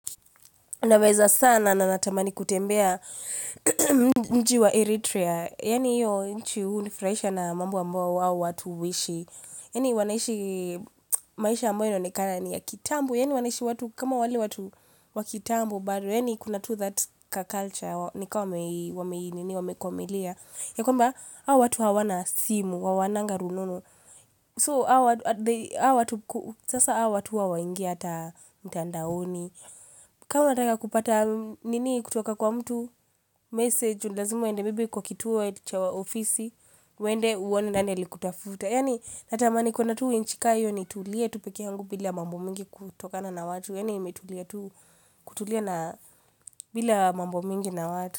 Naweza sana na natamani kutembea mji wa Eritrea. Yaani hiyo nchi hunifraisha na mambo amboa hao watu huishi. Yaani wanaishi maisha ambayo inaonekana ni ya kitambo. Yaani wanaishi kama wale watu wa kitambo. But wheni kuna to that culture. Nika wameinini wameikwamilia. Ya kwamba, hao watu hawana simu. HaWawananga rununu. So, sasa hawa watu hawaingi hata mtandaoni. Kaa unataka kupata nini kutoka kwa mtu message ni lazima ende maybe kwa kituo cha ofisi ende uone nani alikutafuta yani natamani kuona tu nchi ka hiyo nitulie tu peke yangu bila mambo mingi kutokana na watu yani imetulia tu kutulia na bila mambo mingi na watu.